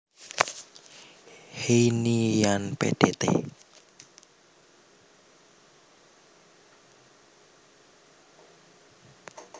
Heyni lan Pdt